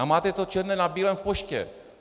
A máte to černé na bílém v poště.